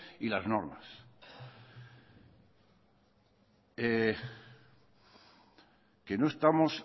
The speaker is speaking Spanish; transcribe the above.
y las normas que no estamos